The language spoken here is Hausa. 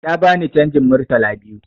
Tana bani canjin Murtala biyu